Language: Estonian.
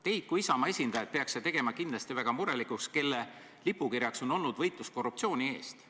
Teid kui Isamaa esindajat peaks see tegema kindlasti väga murelikuks, sest teie erakonna lipukirjaks on olnud võitlus korruptsiooni eest.